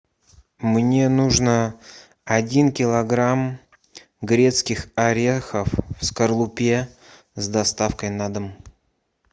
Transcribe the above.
мне нужно один килограмм грецких орехов в скорлупе с доставкой на дом